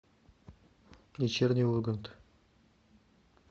вечерний ургант